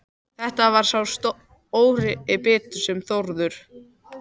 Þetta var sá stóri biti sem Þórður